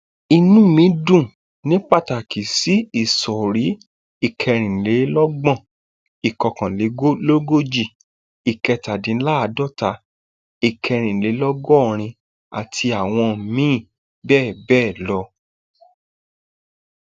inú mi dùn ní pàtàkì sí ìsọrí ìkẹrìnlélọgbọn ìkọkànlélógójì ìkẹtàdínláàádọta ìkẹrìnlélọgọrin àti àwọn míín bẹẹ bẹẹ lọ